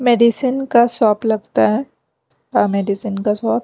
Medicine का shop लगता है अह मेडिसिन का शॉप ।